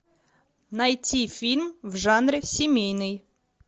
найти фильм в жанре семейный